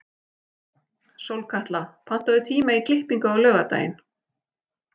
Sólkatla, pantaðu tíma í klippingu á laugardaginn.